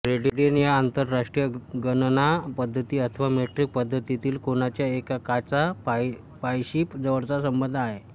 radian या आंतरराष्ट्रीय गणना पद्धती अथवा मेट्रिक पद्धतीतील कोनाच्या एककाचा पायशी जवळचा संबंध आहे